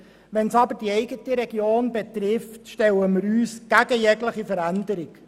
Wenn es aber die eigene Region betrifft, stellen wir uns gegen jegliche Veränderung.